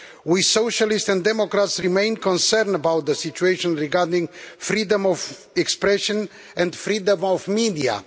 We Socialists and Democrats remain concerned about the situation regarding freedom of expression and freedom of the media.